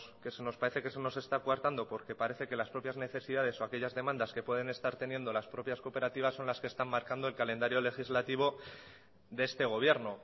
que se nos parece que se nos está coartando porque parece que las propias necesidades o aquellas demandas que pueden estar teniendo las propias cooperativas son las que están marcando el calendario legislativo de este gobierno